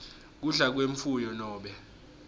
kudla kwemfuyo nobe